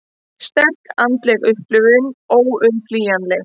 Sterk andleg upplifun óumflýjanleg